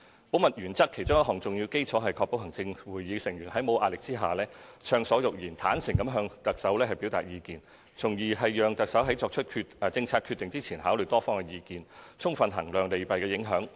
保密原則其中一項重要基礎，是確保行政會議成員在沒有壓力下暢所欲言，坦誠地向行政長官表達意見，從而讓行政長官在作出政策決定前考慮多方意見，充分衡量利弊影響。